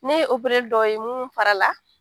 Ne ye opereli dɔw ye munun fara la.